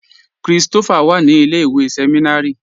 Kristofá wà ní ilẹ̀-ìwé sẹmìnárì